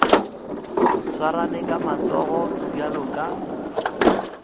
swarane ka matsogo bjalo ka